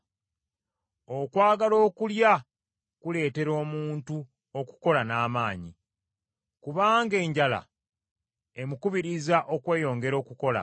Okwagala okulya kuleetera omuntu okukola n’amaanyi, kubanga enjala emukubiriza okweyongera okukola.